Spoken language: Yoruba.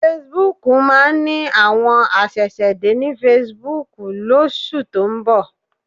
Fesibúùkù máa ní àwọn aṣẹ̀ṣẹ̀dé ní fesibúùkù lóṣù tó ń bọ̀